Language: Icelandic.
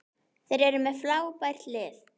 Þeir eru með frábært lið.